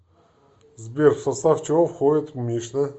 сбер в состав чего входит мишна